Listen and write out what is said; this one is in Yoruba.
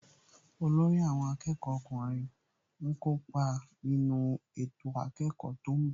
Olórí àwọn akẹ́kọ̀ọ́ ọkùnrin ń kópa nínú ètò akẹ́kọ̀ọ́ tó ń bọ̀